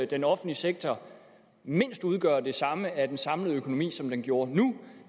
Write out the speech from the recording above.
den offentlige sektor mindst udgøre det samme af den samlede økonomi som den gjorde nu